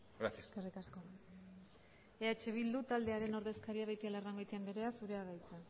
gracias eskerrik asko eh bildu taldearen ordezkaria den beitialarrangoitia andrea zurea da hitza